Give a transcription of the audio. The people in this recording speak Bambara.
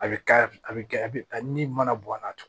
A bɛ ka a bɛ kɛ a bɛ ni mana bɔn a la